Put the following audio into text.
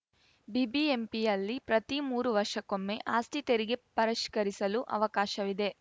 ಬಿಬಿಎಂಪಿಯಲ್ಲಿ ಪ್ರತಿ ಮೂರು ವರ್ಷಕ್ಕೊಮ್ಮೆ ಆಸ್ತಿ ತೆರಿಗೆ ಪರಿಷ್ಕರಿಸಲು ಅವಕಾಶವಿದೆ